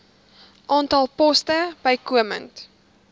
aantal poste bykomend